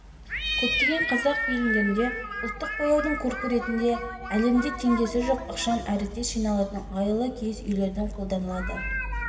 көптеген қазақ фильмдерінде ұлттық бояудың көркі ретінде әлемде теңдесі жоқ ықшам әрі тез жиналатын ыңғайлы киіз үйлерді қолданады